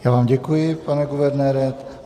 Já vám děkuji, pane guvernére.